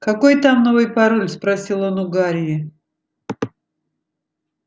какой там новый пароль спросил он у гарри